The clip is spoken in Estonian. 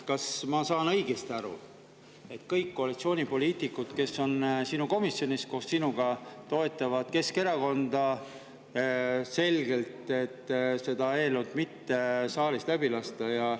Kas ma saan õigesti aru, et kõik koalitsioonipoliitikud, kes on sinu komisjonis koos sinuga, toetavad Keskerakonda sellega, et seda eelnõu saalis läbi lasta?